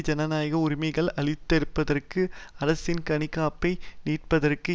ஜனநாயக உரிமைகளை அழித்தொழிப்பதற்கும் அரசின் கண்காணிப்பை நீடிப்பதற்கும்